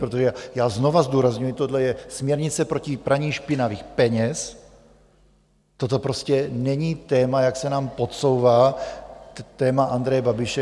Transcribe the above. Protože já znovu zdůrazňuji, tohle je směrnice proti praní špinavých peněz, toto prostě není téma, jak se nám podsouvá, téma Andreje Babiše.